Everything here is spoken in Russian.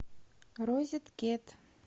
розеткед